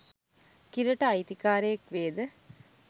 කිරට අයිති කාරයෙක් වේද?